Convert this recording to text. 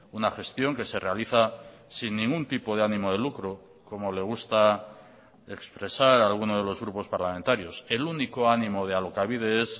una gestión que se realiza sin ningún tipo de ánimo de lucro como le gusta expresar a alguno de los grupos parlamentarios el único ánimo de alokabide es